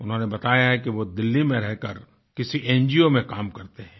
उन्होंने बताया है कि वो दिल्ली में रहकर किसी एनजीओ में काम करते हैं